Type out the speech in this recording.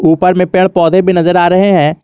ऊपर में पेड़ पौधे भी नजर आ रहा है।